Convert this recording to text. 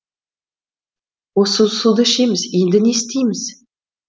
осы суды ішеміз енді не істейміз